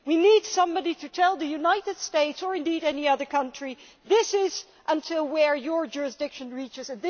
We need somebody to tell the United States or indeed any other country this is where your jurisdiction reaches